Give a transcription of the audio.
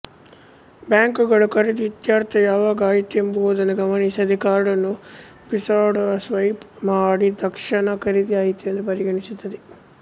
ಬ್ಯಾಂಕುಗಳು ಖರೀದಿ ಇತ್ಯರ್ಥ ಯಾವಾಗ ಆಯಿತೆಂಬುದನ್ನು ಗಮನಿಸದೆ ಕಾರ್ಡನ್ನು ಬೀಸುಹೊಡೆದಸ್ವಯಿಪ್ ಮಾಡಿದಕ್ಷಣ ಖರೀದಿ ಆಯಿತೆಂದು ಪರಿಗಣಿಸುತ್ತದೆ